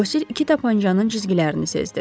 Bosir iki tapançanın cizgilərini sezdi.